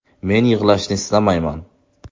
Men yig‘lashni istamayman”.